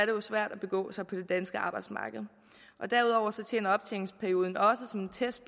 jo svært at begå sig på det danske arbejdsmarked derudover tjener optjeningsperioden også som en test